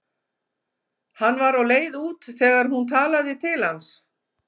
Hann var á leið út þegar hún talaði til hans.